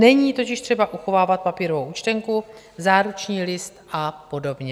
Není totiž třeba uchovávat papírovou účtenku, záruční list a podobně.